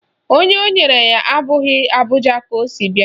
Onye o nyere ya abụghị Abuja ka o si bia